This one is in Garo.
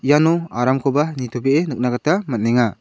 iano aramkoba nitobe·e nikna gita man·enga.